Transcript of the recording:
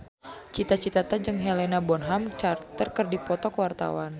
Cita Citata jeung Helena Bonham Carter keur dipoto ku wartawan